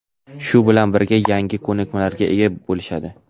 shu bilan birga yangi ko‘nikmalarga ega bo‘lishadi.